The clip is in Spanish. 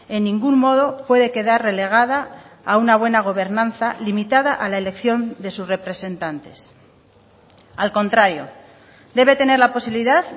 en ningún modo puede quedar relegada a una buena gobernanza limitada a la elección de sus representantes al contrario debe tener la posibilidad